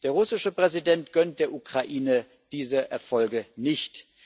Der russische Präsident gönnt der Ukraine diese Erfolge nicht.